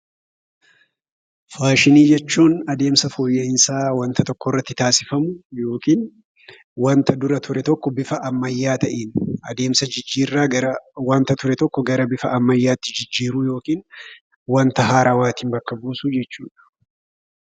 Faashinii jechuun adeemsa fooyya'iinsaa waanta tokko irratti taasifamu yookiin waanta dura ture tokko bifa ammayyaa ta'een adeemsa jijjiirraa waanta dura ture tokko gara bifa ammayyaatti jijjiiruu yookiin waanta haarawaatiin bakka buusuu jechuudha.